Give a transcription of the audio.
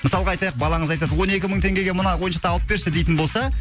мысалға айтайық балаңыз айтады он екі мың теңгеге мына ойыншықты алып берші дейтін болса